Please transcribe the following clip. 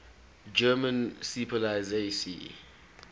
german seepolizei sea